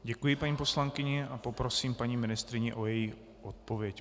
Děkuji paní poslankyni a poprosím paní ministryni o její odpověď.